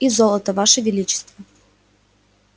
и золото ваше величество